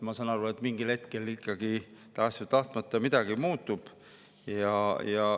Ma saan aru, et mingil hetkel ikkagi tahes või tahtmata midagi muutub.